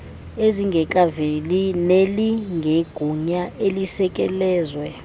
ezingekaveli nelinegunya elisekelezwe